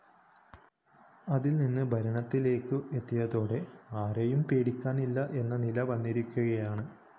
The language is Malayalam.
അതില്‍നിന്ന് ഭരണത്തിലേക്ക് എത്തിയതോടെ ആരെയും പേടിക്കാനില്ല എന്ന നില വന്നിരിക്കുകയാണ്